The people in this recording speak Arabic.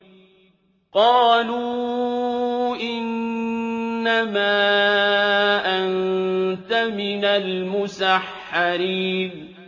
قَالُوا إِنَّمَا أَنتَ مِنَ الْمُسَحَّرِينَ